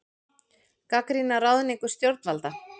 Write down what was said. Gagnrýna ráðningu stjórnvalda